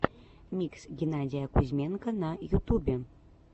микс геннадия кузьменко на ютубе